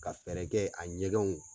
Ka fɛɛrɛ kɛ a ɲɛgɛnw